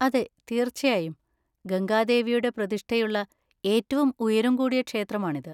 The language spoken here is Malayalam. അതെ, തീർച്ചയായും. ഗംഗാദേവിയുടെ പ്രതിഷ്ഠയുള്ള ഏറ്റവും ഉയരം കൂടിയ ക്ഷേത്രമാണിത്.